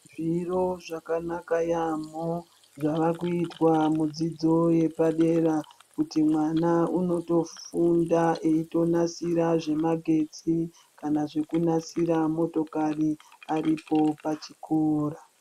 Zviro zvakanaka yaamhoo, zvavakuitwa mudzidzo yepadera kuti mwana unotofunda eitonasira zvemagetsi kana kunasira motokari aripo pachikoro.